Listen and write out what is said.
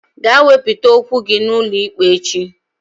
Gaa wepụta okwu gị n'ụlọikpe echi!